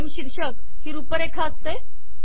frame शीर्षक ही रुपरेखा असते